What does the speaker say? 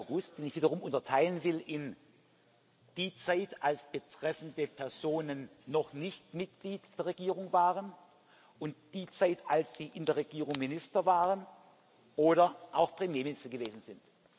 2. August, den ich wiederum unterteilen will in die Zeit, als betreffende Personen noch nicht Mitglied der Regierung waren, und die Zeit, als sie in der Regierung Minister waren oder auch Premierminister gewesen sind.